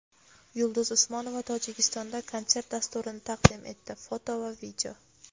Yulduz Usmonova Tojikistonda konsert dasturini taqdim etdi (foto va video).